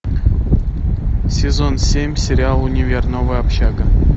сезон семь сериал универ новая общага